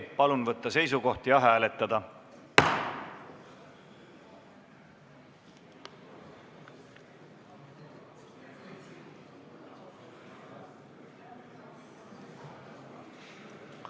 Palun võtta seisukoht ja hääletada!